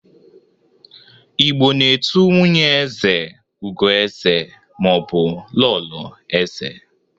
Igbo na-etu nwunye eze "Ugoeze ' ma ọ bụ 'lolo eze'